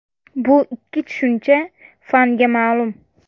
Bu ikki tushuncha fanga ma’lum.